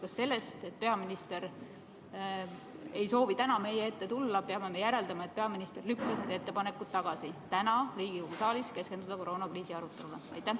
Kas sellest, et peaminister ei soovi täna meie ette tulla, peame järeldama, et peaminister lükkas tagasi need ettepanekud keskenduda täna Riigikogu saalis koroonakriisi arutelule?